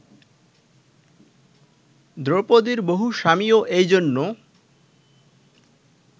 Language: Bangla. দ্রৌপদীর বহু স্বামীও এই জন্য